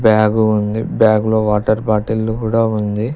Bag ఉంది బ్యాగులో water బాటిళ్లు కూడా ఉంది.